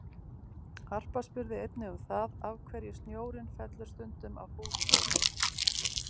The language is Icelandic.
Harpa spurði einnig um það af hverju snjórinn fellur stundum af húsþökum?